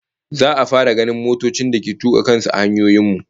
Za'a fara ganin motocin da ke tuka kan su a hanyoyin mu